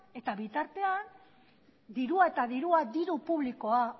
eta bitartean dirua eta dirua diru publikoa